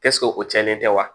o cɛnlen tɛ wa